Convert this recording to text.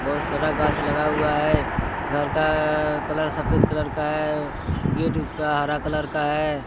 बहुत सारा गाछ लगा हुआ है घर का कलर सफेद कलर का है गेट उसका हर कलर का है।